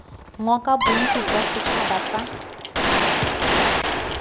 ngoka bontsi jwa setšhaba sa